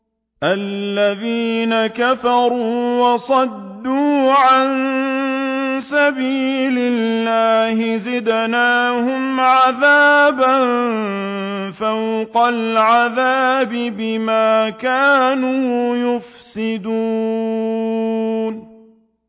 الَّذِينَ كَفَرُوا وَصَدُّوا عَن سَبِيلِ اللَّهِ زِدْنَاهُمْ عَذَابًا فَوْقَ الْعَذَابِ بِمَا كَانُوا يُفْسِدُونَ